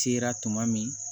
Sera tuma min